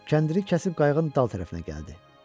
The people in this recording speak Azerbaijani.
Kəndiri kəsib qayıqın dal tərəfinə gəldi.